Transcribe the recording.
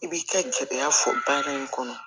I b'i ka jɛya fɔ baara in kɔnɔ